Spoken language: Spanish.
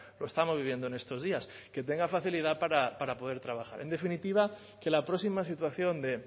lo estamos viviendo en estos días que tenga facilidad para poder trabajar en definitiva que la próxima situación de